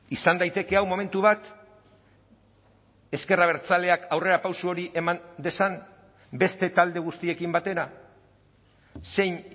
izan daiteke hau momentu bat ezker abertzaleak aurrerapauso hori eman dezan beste talde guztiekin batera zein